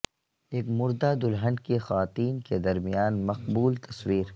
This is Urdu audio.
ایک مردہ دلہن کی خواتین کے درمیان مقبول تصویر